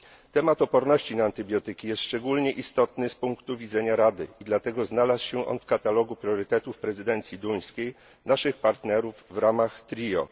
Temat odporności na antybiotyki jest szczególnie istotny z punktu widzenia Rady i dlatego znalazł się on w katalogu priorytetów prezydencji duńskiej, naszych partnerów w ramach trio.